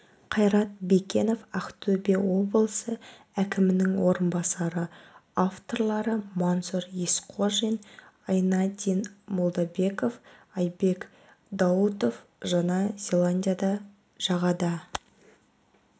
қайрат бекенов ақтөбе облысы әкімінің орынбасары авторлары мансұр есқожин айнадин молдабеков айбек даутов жаңа зеландияда жағада